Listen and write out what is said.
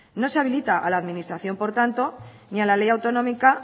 no se habilita a la administración por tanto ni a la ley autonómica